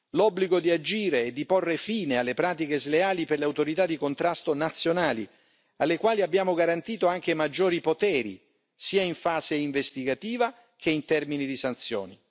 l'obbligo di agire e di porre fine alle pratiche sleali per le autorità di contrasto nazionali, alle quali abbiamo garantito anche maggiori poteri sia in fase investigativa che in termini di sanzioni